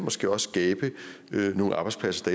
måske også skabe nogle arbejdspladser